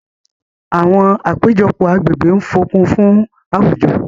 àwọn apejọpọ agbegbe ń fokun fun awujo.